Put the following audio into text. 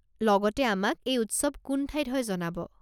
লগতে আমাক এই উৎসৱ কোন ঠাইত হয় জনাব।